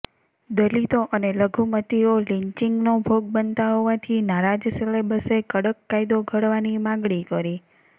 દલિતો અને લઘુમતીઓ લિન્ચિંગનો ભોગ બનતા હોવાથી નારાજ સેલેબ્સે કડક કાયદો ઘડવાની માગણી કરી